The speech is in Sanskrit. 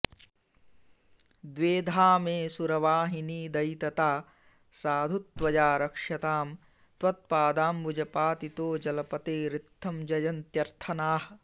द्वेधा मे सुरवाहिनीदयितता साधु त्वया रक्ष्यतां त्वत्पादाम्बुजपातिनो जलपतेरित्थं जयन्त्यर्त्थनाः